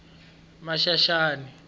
maxaxani